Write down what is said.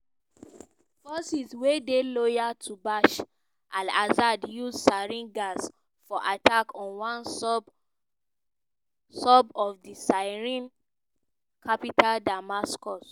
forces wey dey loyal to bashar al-assad use sarin gas for attack on one suburb of di syrian capital damascus